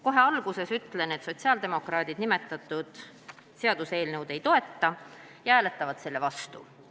Kohe alguses ütlen, et sotsiaaldemokraadid seda seaduseelnõu ei toeta ja hääletavad sellele vastu.